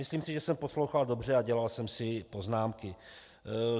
Myslím si, že jsem poslouchal dobře a dělal jsem si poznámky.